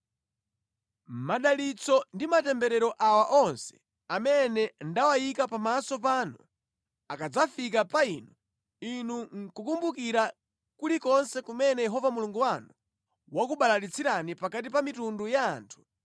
Madalitso ndi matemberero awa onse amene ndawayika pamaso panu akadzafika pa inu, inu nʼkukumbukira kulikonse kumene Yehova Mulungu wanu wakubalalitsirani pakati pa mitundu ya anthu,